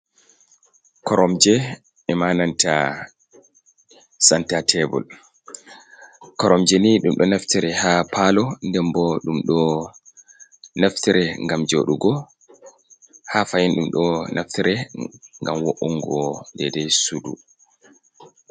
"Koromje" e'ma nanta santa tebur. Koromje ni ɗum ɗo naftire ha palo den bo ɗum ɗo naftire ngam jodugo ha fahin ɗum do naftire ngam wo’ungo de dei sudu.